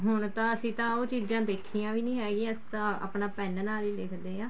ਹੁਣ ਤਾਂ ਅਸੀਂ ਉਹ ਚੀਜ਼ਾਂ ਦੇਖੀਆਂ ਵੀ ਨੀ ਹੈਗੀਆਂ ਅਸੀਂ ਤਾਂ ਆਪਣਾ pen ਨਾਲ ਹੀ ਲਿਖਦੇ ਹਾਂ